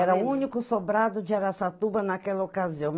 Era o único sobrado de Araçatuba naquela ocasião.